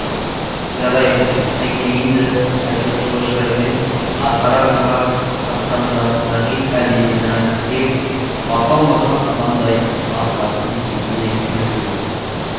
жарайды әкелейінді айтып жылы шыраймен асқар арқаға қаққанда сағит әлденені айтқысы кеп бата алмаған адамдай асқардың бетіне күлімсірей